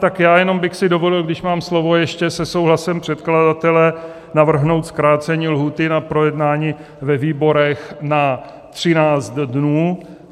Tak já jenom bych si dovolil, když mám slovo, ještě se souhlasem předkladatele navrhnout zkrácení lhůty na projednání ve výborech na 13 dnů.